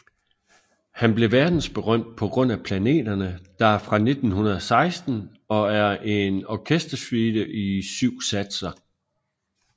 Han blev verdensberømt på grund af Planeterne der er fra 1916 og er en orkestersuite i syv satser